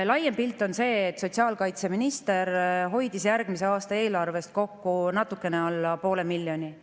Laiem pilt on see, et sotsiaalkaitseminister hoidis järgmise aasta eelarvest kokku natuke alla 0,5 miljoni.